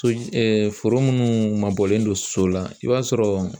So foro minnu mabɔlen don so la i b'a sɔrɔ